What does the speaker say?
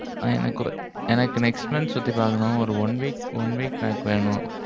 எனக்கு next month சுத்தி பாக்கணும். ஒரு one week one week pack வேணும்.